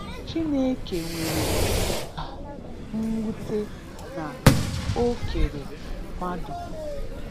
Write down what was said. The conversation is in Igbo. Chineke nwere um mwute na o kere mmadu.